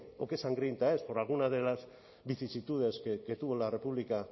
o qué sangrienta es por alguna de las vicisitudes que tuvo la república